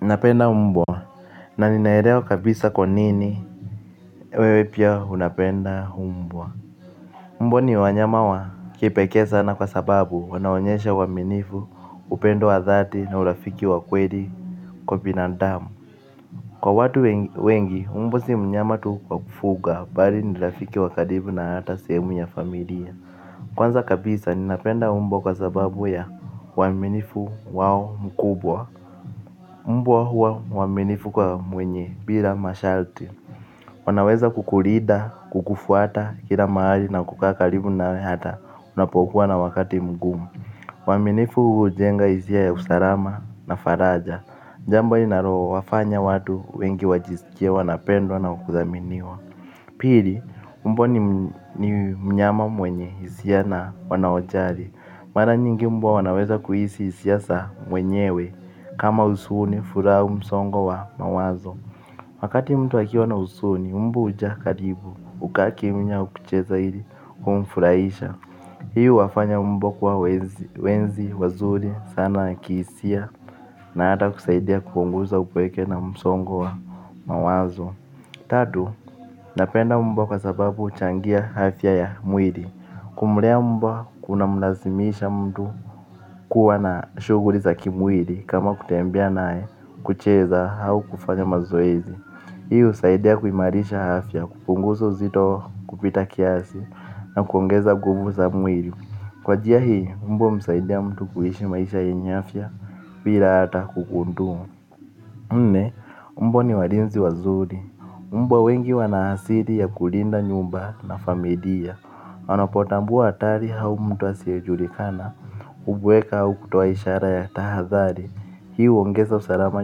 Napenda mbwa, na ninaelewa kabisa kwa nini wewe pia unapenda mbwa. Mbwa ni wanyama wa kipekee sana kwa sababu wanaonyesha uaminifu upendo wa dhati na urafiki wa kweli kwa binandamu. Kwa watu wengi, mbwa si mnyama tu kwa kufuga, bali nirafiki wa karibu na hata sehemu ya familia. Kwanza kabisa, ninapenda mbwa kwa sababu ya uaminifu wao mkubwa. Mbwa huwa mwaminifu kwa mwenye, bila masharti, wanaweza kukurida, kukufuata, kila mahali na kukaa karibu na we hata, unapokuwa na wakati mgumu. Uaminifu huu ujenga hizia ya usalama na faraja, jambo inaro wafanya watu wengi wajiskie wanapendwa na kuthaminiwa. Pili, mbwa ni mnyama mwenye, hisia na wanaojari. Mara nyingi mbwa wanaweza kuhisi hisia sa mwenyewe. Kama usuni, furaha au msongo wa mawazo wakati mtu akiwa na usuni, mbwa huja karibu. Ukakimnya aukucheza ili, kumfurahisha. Hii uwafanya mbwa kuwa wenzi, wazuri, sana kihisia. Na ata kusaidia kupunguza upweke na msongo wa mawazo. Tatu, napenda mbwa kwa sababu huchangia afya ya mwiri. Kumlea mbwa kuna mlazimisha mtu kuwa na shughli za kimwiri. Kama kutembea nae kucheza au kufanya mazoezi hii u saidia kuimarisha afya kupunguza uzito kupita kiasi na kuongeza nguvu za mwiri. Kwa jia hii, mbwa humsaidia mtu kuishi maisha yenye afya bila ata kukundumu nne, mbwa ni warinzi wazuri. Mbwa wengi wanahasiri ya kulinda nyumba na familia anapotambua hatari au mtu asiyejulikana ubweka au kutoa ishara ya tahathari. Hii uongeza usalama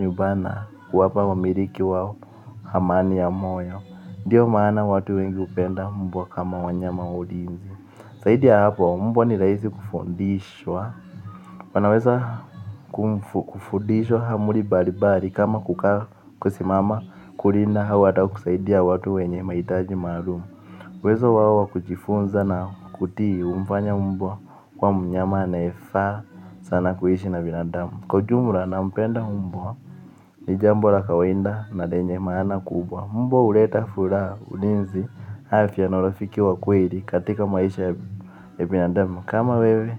nyumbani na kuwapa wamiriki wao amani ya moyo. Ndiyo maana watu wengi upenda mbwa kama wanyama wa ulinzi. Saidi ya hapo mbwa ni rahisi kufundishwa. Wanaweza kufundishwa amri bari bari. Kama kukaa kusimama kulinda au ata kusaidia watu wenye mahitaji maalum uWezo wao wa kujifunza na kutii humfanya mbwa kuwa mnyama anayefaa sana kuishi na binadamu. Kwa ujumla na mpenda mbwa ni jambo la kawaida na lenye maana kubwa. Mbwa uleta furaha ulinzi afya na urafiki wa kweli katika maisha ya binadamu. Kama wewe.